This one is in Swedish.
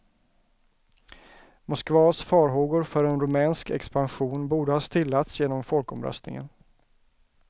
Moskvas farhågor för en rumänsk expansion borde ha stillats genom folkomröstningen.